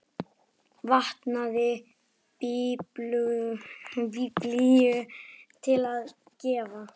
Vantaði biblíu til að gefa.